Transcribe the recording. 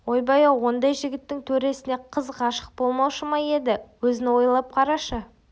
ойбай-ау ондай жігіттің төресіне қыз ғашық болмаушы ма еді өзің ойлап қарашы